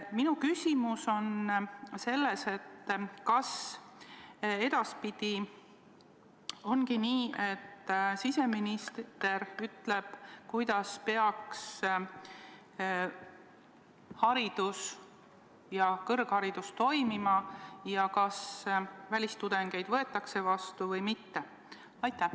Minu küsimus on selline: kas edaspidi ongi nii, et siseminister ütleb, kuidas peaks haridus, sh kõrgharidus, toimima ja kas välistudengeid võetakse vastu või mitte?